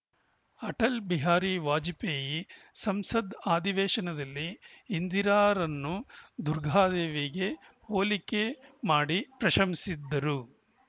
ಅಟಲ್‌ ಬಿಹಾರಿ ವಾಜಪೇಯಿ ಸಂಸತ್‌ ಅಧಿವೇಶನದಲ್ಲಿ ಇಂದಿರಾರನ್ನು ದುರ್ಗಾದೇವಿಗೆ ಹೋಲಿಕೆ ಮಾಡಿ ಪ್ರಶಂಸಿಸಿದ್ದರು